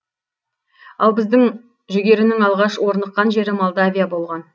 ал біздің жүгерінің алғаш орныққан жері молдавия болған